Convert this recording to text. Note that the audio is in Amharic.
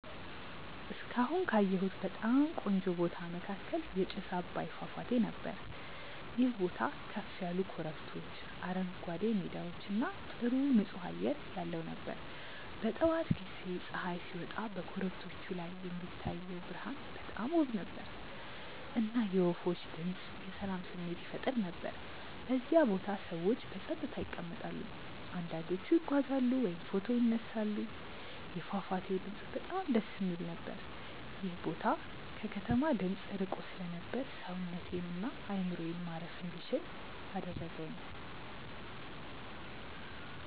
እስካሁን ካየሁት በጣም ቆንጆ ቦታ መካከል የጥስ አባይ ፏፏቴ ነበር። ይህ ቦታ ከፍ ያሉ ኮረብቶች፣ አረንጓዴ ሜዳዎች እና ጥሩ ንፁህ አየር ያለው ነበር። በጠዋት ጊዜ ፀሐይ ሲወጣ በኮረብቶቹ ላይ የሚታየው ብርሃን በጣም ውብ ነበር፣ እና የወፎች ድምፅ የሰላም ስሜት ይፈጥር ነበር። በዚያ ቦታ ሰዎች በጸጥታ ይቀመጣሉ፣ አንዳንዶቹ ይጓዛሉ ወይም ፎቶ ይነሳሉ። የፏፏቴው ድምፅ በጣም ደስ የሚል ነበር። ይህ ቦታ ከከተማ ድምፅ ርቆ ስለነበር ሰውነቴን እና አእምሮዬን ማረፍ እንዲችል አደረገኝ።